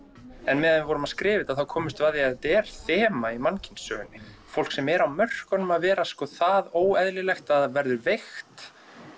meðan við vorum að skrifa þetta komumst við að því að þetta er þema í mannkynssögunni fólk sem er á mörkunum að vera það óeðlilegt að það verður veikt